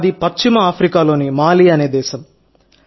మాది పశ్చిమ ఆఫ్రికాలోని మాలి అనే దేశం